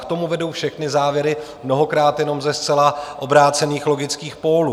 K tomu vedou všechny závěry, mnohokrát jenom ze zcela obrácených logických pólů.